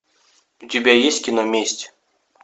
у тебя есть кино месть